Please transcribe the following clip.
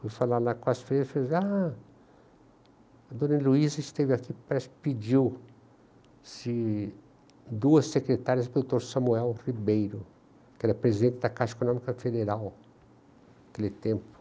Fui falar lá com as freiras e falei, ''ah, a Dona Heloísa esteve aqui, pediu se duas secretárias para o doutor Samuel Ribeiro'', que era presidente da Caixa Econômica Federal, naquele tempo